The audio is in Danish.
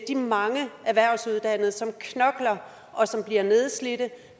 de mange erhvervsuddannede som knokler og som bliver nedslidte